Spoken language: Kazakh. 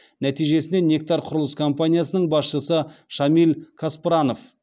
нәтижесінде нектар құрылыс компаниясының басшысы шамиль каспранов